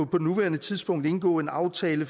på nuværende tidspunkt indgå en aftale